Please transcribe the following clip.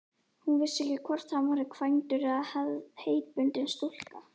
Hún vissi ekki hvort hann var kvæntur eða heitbundinn stúlku.